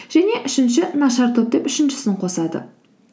және үшінші нашар топ деп үшіншісін қосады